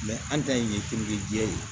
an ta in ye jɛ ye o